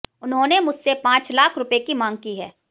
उन्होंने मुझसे पांच लाख रूपये की मांग की है